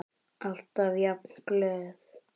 Alltaf jafn glöð.